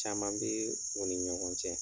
Caman bɛ o ni ɲɔgɔn cɛ.